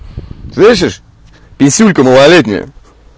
слышеш писюлька малолетняя